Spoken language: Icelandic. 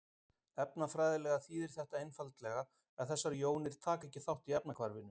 efnafræðilega þýðir þetta einfaldlega að þessar jónir taka ekki þátt í efnahvarfinu